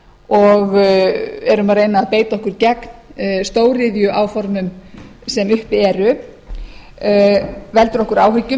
og erum að reyna að beita okkur gegn stóriðjuáformum sem uppi eru veldur okkur áhyggjum